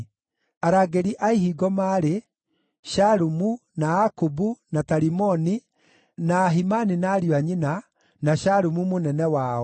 Arangĩri a ihingo maarĩ: Shalumu, na Akubu, na Talimoni, na Ahimani na ariũ a nyina, na Shalumu mũnene wao,